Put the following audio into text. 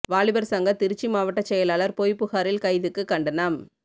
வாலிபர் சங்க திருச்சி மாவட்டச் செயலாளர் பொய்ப் புகாரில் கைதுக்கு கண்டனம்